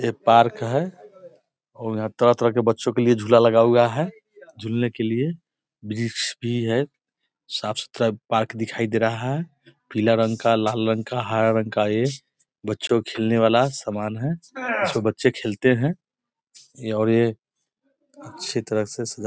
ये पार्क है और यहाँ तरह तरह बच्चों के लिए झूला लगा हुआ है झूलने के लिए वृक्ष भी है साफ-सुथरा पार्क दिखाई दे रहा है| पीला रंग का लाल रंग का हरा रंग का है बच्चों का खेलने बाला सामान है ये सो बच्चें खेलते है ये और ये अच्छी तरह से सजा --